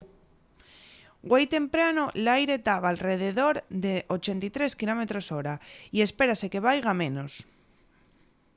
güei temprano l’aire taba alredor de 83 km/h y espérase que vaiga a menos